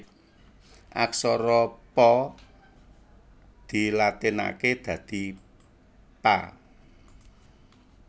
Aksara Pa dilatinaké dadi Pa